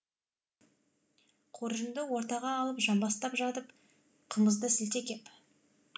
қоржынды ортаға алып жамбастап жатып қымызды сілте кеп